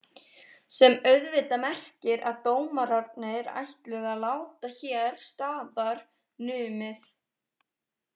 Sem auðvitað merkir að dómararnir ætluðu að láta hér staðar numið.